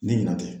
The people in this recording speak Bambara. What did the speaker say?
Ne ɲina tɛ